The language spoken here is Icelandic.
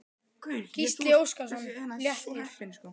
Gísli Óskarsson: Léttir?